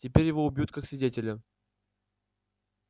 теперь его убьют как свидетеля